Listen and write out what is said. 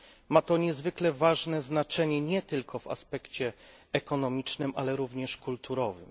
Ma to niezwykle ważne znaczenie nie tylko w aspekcie ekonomicznym, ale również kulturowym.